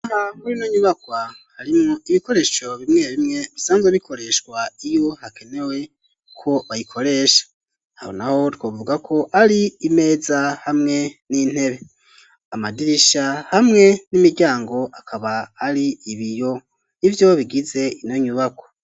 Ino nyubakwa harimwo ibikoresho bimwe bimwe bisanzwe bikoreshwa iyo hakenewe ko bayikoresha aho naho twovuga ko ari imeza hamwe n'intebe amadirisha hamwe n'imiryango akaba ari ibiyo ivyo bigize ino nyubako.